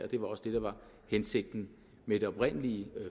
det var også det der var hensigten med det oprindelige